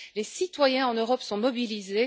Les citoyens en Europe sont mobilisés.